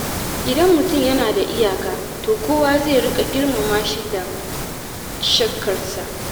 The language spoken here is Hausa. Idan mutum yana da iyaka, to kowa zai riƙa girmama shi da shakkarsa.